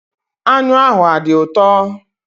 Anyụ ahụ adị ụtọ?